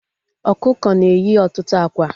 Ọkụkọ na-eyi ọtụtụ ákwá